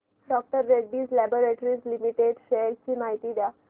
डॉ Reddy's laboratories limited shares ची माहिती द्या